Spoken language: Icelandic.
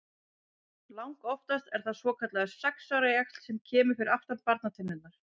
Langoftast er það svokallaður sex ára jaxl sem kemur fyrir aftan barnatennurnar.